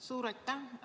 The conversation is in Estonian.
Suur aitäh!